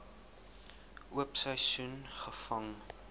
oop seisoen gevang